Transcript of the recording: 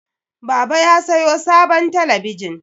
Baba ya sayo sabon talabijin.